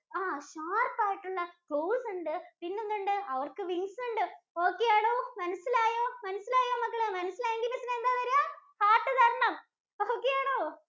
ആഹ് sharp ആയിട്ടുള്ള claws ഉണ്ട്, പിന്നെന്തുണ്ട്? അവര്‍ക്ക് wings ഉണ്ട്. Okay ആണോ? മനസ്സിലായോ? മനസ്സിലായോ മക്കളെ? മനസ്സിലായെങ്കി പിന്നെ എന്താ തരുകാ. Heart തരണം. അപ്പൊ Okay ആണോ?